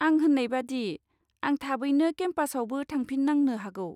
आं होन्नाय बादि, आं थाबैनो केमपासआवबो थांफिननांनो हागौ।